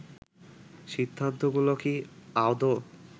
সিদ্ধান্তগুলো কি আদৌ